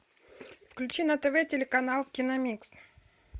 включи на тв телеканал киномикс